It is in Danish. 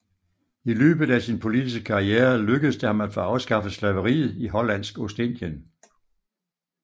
I løbet af sin politiske karriere lykkedes det ham at få afskaffet slaveriet i Hollandsk Ostindien